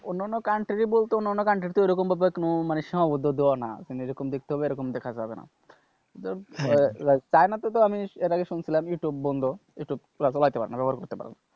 অন্য অন্য country বলতে অন্য অন্য country তে ওরকম ভাবে সীমাবদ্ধ দেওয়া না তুমি যেরকম দেখতে হবে ওরকম দেখা যাবে না চায়নাতে তো এর আগে শুনছিলাম যে ইউটিউব বন্ধ ইউটিউব চালাইতে পারবে না ব্যবহার করতে পারবে না,